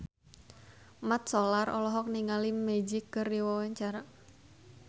Mat Solar olohok ningali Magic keur diwawancara